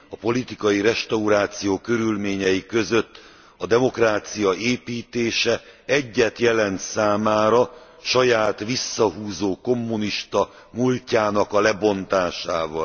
A politikai restauráció körülményei között a demokrácia építése egyet jelent számára saját visszahúzó kommunista múltjának a lebontásával.